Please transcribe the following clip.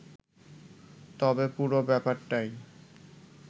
তবে পুরো ব্যাপারটাই